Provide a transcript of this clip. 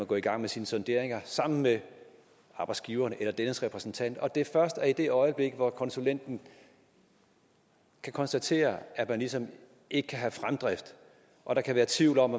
gå i gang med sine sonderinger sammen med arbejdsgiveren eller dennes repræsentant og det er først i det øjeblik hvor konsulenten kan konstatere at man ligesom ikke kan have fremdrift og der kan være tvivl om